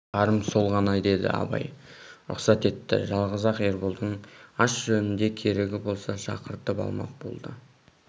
барым сол ғана деді абай рұқсат етті жалғыз-ақ ерболдың ас жөнінде керегі болса шақыртып алмақ болды